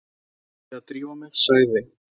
Nú verð ég að drífa mig, sagði